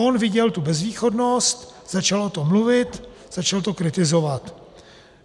On viděl tu bezvýchodnost, začal o tom mluvit, začal to kritizovat.